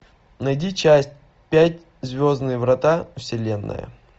найди часть пять звездные врата вселенная